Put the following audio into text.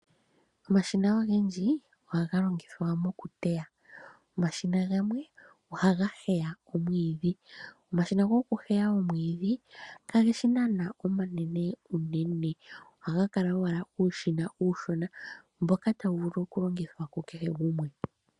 Omashina ogendji ohaga longithwa moku teya. Omashina gamwe ohaga heya omwiidhi. Omashina goku heya omwiidhi, kageshi nana omanene unene, ohaga kala owala uushina uushona mboka tawu vulu oku longithwa ku kehe gumwe.